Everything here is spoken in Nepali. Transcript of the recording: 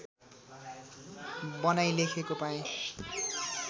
बनाई लेखेको पाएँ